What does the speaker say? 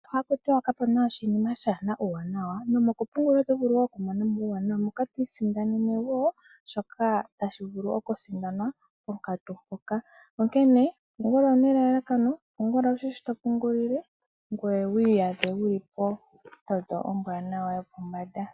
Sho haku tiwa kapuna oshinima shaana uuwanawa, nomokupungula otovulu woo okumona uuwanawa moka twiisindanene woo shoka tashivulu okusindanwa ponkatu mpoka. Onkene pungula una elalakano pungula wushi sho topungulile ngweye wiiyadhe wuli pondondo ombwaanawa yopombanda.